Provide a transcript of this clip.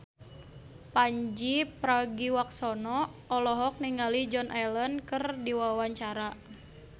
Pandji Pragiwaksono olohok ningali Joan Allen keur diwawancara